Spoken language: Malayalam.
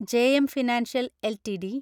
JM financial LTD